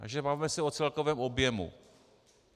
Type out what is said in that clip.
Takže bavme se o celkovém objemu.